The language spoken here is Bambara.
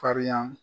Farinya